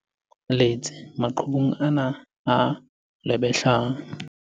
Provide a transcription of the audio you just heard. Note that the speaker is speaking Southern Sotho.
Letse maqhubung ana a lwebehlang.